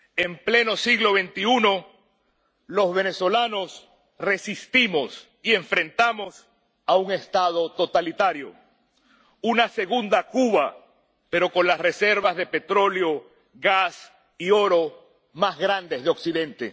En pleno siglo XXI, los venezolanos resistimos y nos enfrentamos a un Estado totalitario, una segunda Cuba pero con las reservas de petróleo, gas y oro más grandes de Occidente.